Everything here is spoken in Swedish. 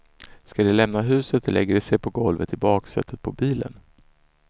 Ska de lämna huset lägger de sig på golvet i baksätet på bilen.